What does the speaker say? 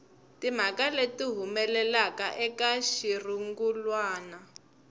timhaka leti humelelaka eka xirungulwana